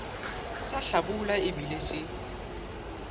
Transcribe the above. sa hlabula e bile se